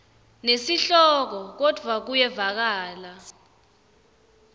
nesihloko kodvwa kuyevakala